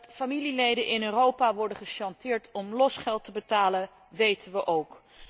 Dat familieleden in Europa worden gechanteerd om losgeld te betalen, weten we ook.